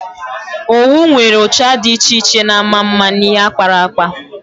Owu nwere ụcha dị iche iche na-ama mma n'ihe akparakpa.